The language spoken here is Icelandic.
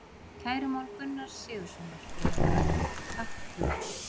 Kærumál Gunnar Sigurðarson, Gunnar á Völlum: Takk guð.